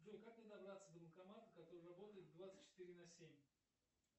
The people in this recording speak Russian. джой как мне добраться до банкомата который работает двадцать четыре на семь